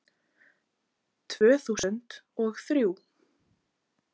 Tvö þúsund og þrjú